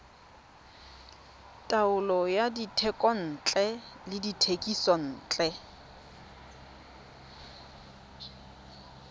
taolo ya dithekontle le dithekisontle